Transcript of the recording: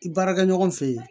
Baarakɛ ɲɔgɔn fɛ yen